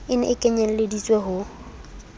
e ne e kenyelleditswe ho